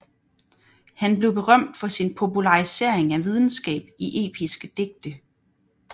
Han blev berømt for sin popularisering af videnskab i episke digte